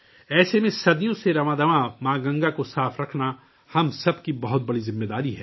ایسے میں ماں گنگا کو صدیوں سے صاف رکھنا ہم سب کی بڑی ذمہ داری ہے